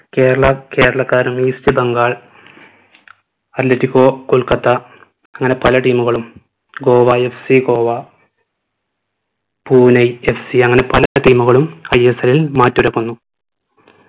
കേരള കേരളക്കാരും east ബംഗാൾ കൊൽക്കത്ത അങ്ങനെ പല team കളും ഗോവ FC ഗോവ പൂനെ FC അങ്ങനെ പല team കളും ISL ൽ മാറ്റൊരുക്കുന്നു